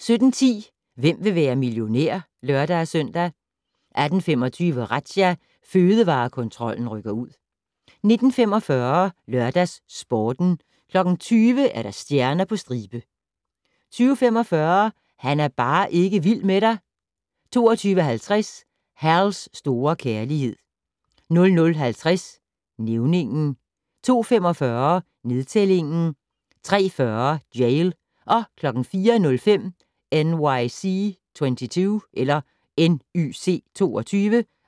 17:10: Hvem vil være millionær? (lør-søn) 18:25: Razzia - Fødevarekontrollen rykker ud 19:45: LørdagsSporten 20:00: Stjerner på stribe 20:45: Han er bare ikke vild med dig 22:50: Hal's store kærlighed 00:50: Nævningen 02:45: Nedtælling 03:40: Jail 04:05: NYC 22